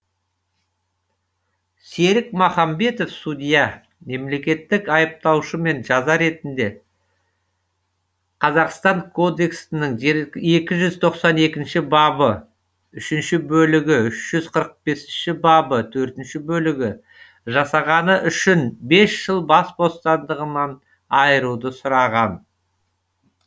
серік махамбетов судья мемлекеттік айыптаушымен жаза ретінде қазақстан кодексінің екі жүзтоқсан екінші бабы үшінші бөлігі үш жүз елу төртінші бабы төртінші бөлігі жасағаны үшін бес жыл бас бостандығынан айыруды сұраған